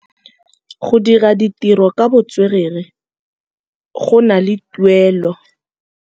Go dira ditirô ka botswerere go na le tuelô.